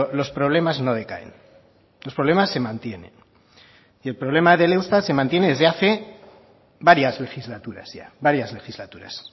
los problemas no decaen los problemas se mantienen y el problema del eustat se mantiene desde hace varias legislaturas ya varias legislaturas